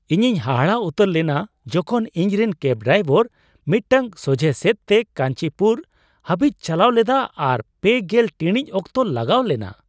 ᱤᱧᱤᱧ ᱦᱟᱦᱟᱲᱟᱜ ᱩᱛᱟᱹᱨ ᱞᱮᱱᱟ ᱡᱚᱠᱷᱚᱱ ᱤᱧ ᱨᱮᱱ ᱠᱮᱹᱵᱽ ᱰᱨᱟᱭᱵᱷᱟᱨ ᱢᱤᱫᱴᱟᱝ ᱥᱚᱡᱷᱽᱦᱮ ᱥᱮᱫ ᱛᱮ ᱠᱟᱧᱪᱤᱯᱩᱨ ᱦᱟᱹᱵᱤᱡ ᱪᱟᱞᱟᱣ ᱞᱮᱫᱟ ᱟᱨ ᱓᱐ ᱴᱤᱲᱤᱡ ᱚᱠᱛᱚ ᱞᱟᱜᱟᱣ ᱞᱮᱱᱟ ᱾